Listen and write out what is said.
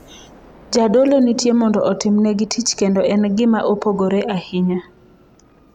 Jadolo nitie mondo otimnegi tich kendo en gima opogore ahinya.